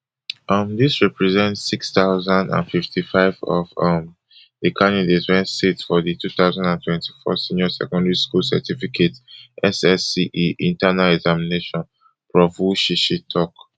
um dis represent six thousand and fifty-five of um di candidates wey sit for di two thousand and twenty-four senior secondary school certificate ssce internal examination prof wushishi tok